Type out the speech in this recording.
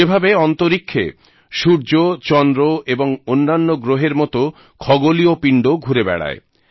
যেভাবে অন্তরীক্ষে সূর্য চন্দ্র এবং অন্যান্য গ্রহের মত খগোলীয় পিণ্ড ঘুরে বেড়ায়